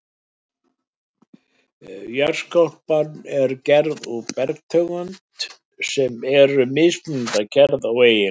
Jarðskorpan er gerð úr bergtegundum sem eru mismunandi að gerð og eiginleikum.